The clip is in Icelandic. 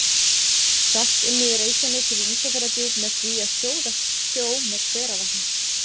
Salt unnið í Reykjanesi við Ísafjarðardjúp með því að sjóða sjó með hveravatni.